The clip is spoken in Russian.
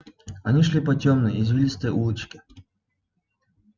они шли по тёмной извилистой улочке